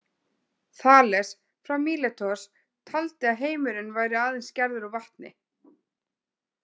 Þales frá Míletos taldi að heimurinn væri aðeins gerður úr vatni.